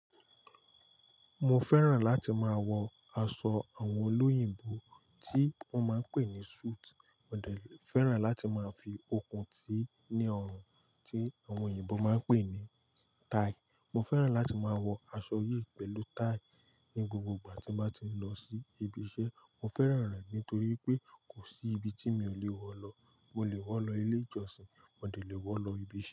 Mo fẹ́ràn láti máa wọ aṣọ àwọn olóyìnbó tí wọ́n máa ń pè ní suit, mo dẹ̀ fẹ́ràn láti máa fi okùn tíì ní ọrùn tí àwọn òyìnbó máa ń pè ní tie. Mo fẹ́ràn láti máa wọ aṣọ yìí pẹ̀lú tie ní gbogbo ìgbà tí mo bá ti ń lọ sí ibi iṣẹ́. Mo fẹ́ràn rẹ̀ nítorí pé kò sí ibi tí mi ò lè wọ lọ. Mo lè wọ̀ lọ ilé ìjọsìn, mo lè wọ̀ lọ ibi iṣẹ́.